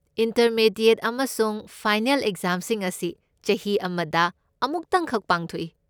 Intermediate ꯑꯃꯁꯨꯡ final ꯑꯦꯛꯖꯥꯝꯁꯤꯡ ꯑꯁꯤ ꯆꯍꯤ ꯑꯃꯗ ꯑꯃꯨꯇꯪꯈꯛ ꯄꯥꯡꯊꯣꯛꯏ꯫